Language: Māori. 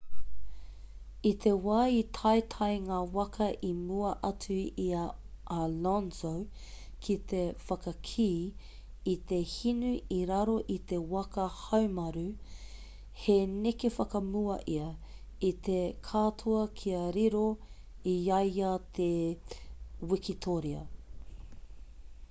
i te wā i taetae ngā waka i mua atu i a alonso ki te whakakī i te hinu i raro i te waka haumaru he neke whakamua ia i te katoa kia riro i a ia te wikitōria